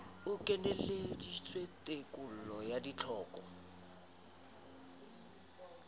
e kenyeleditse tekolo ya ditlhoko